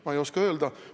Ma ei oska öelda.